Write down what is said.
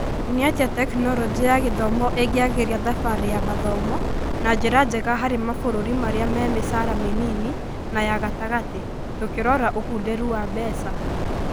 Nĩatĩa Tekinoronjĩ ya Gĩthomo ĩngĩagĩria thabarĩ ya mathomo na njĩra njega harĩ mabũruri marĩa me micara mĩnini na ya gatagatĩ, tũkĩrora ũkunderu wa mbeca?